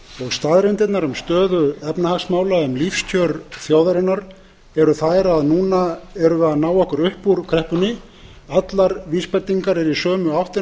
staðreyndirnar um stöðu efnahagsmála um lífskjör þjóðarinnar eru þær að núna erum við að ná okkur upp úr kreppunni allar vísbendingar eru í sömu áttina